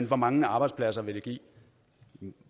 hvor mange arbejdspladser det vil give